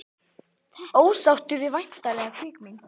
Ósáttur við væntanlega kvikmynd